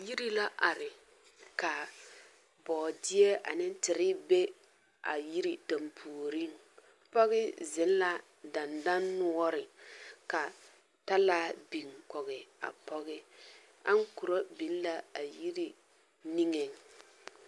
Yiri la are ka bɔɔdeɛ ane teere be a yiri dampuori pɔge ziŋ a dendɔnoɔre ka talaa biŋkɔge a pɔge aŋkorɔ biŋ la yiri nigeŋ.